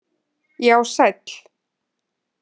Já sæll!!!